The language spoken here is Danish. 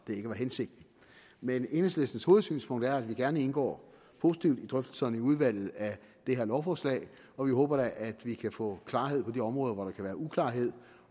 ikke var hensigten men enhedslistens hovedsynspunkt er at vi gerne indgår positivt i drøftelserne i udvalget af det her lovforslag og vi håber da at vi kan få klarhed på de områder hvor der kan være uklarheder